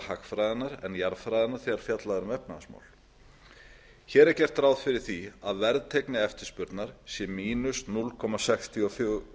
hagfræðinnar en jarðfræðinnar þegar fjallað er um efnahagsmál hér er gert ráð fyrir að verðteygni eftirspurnar sé núll komma sextíu og fjögur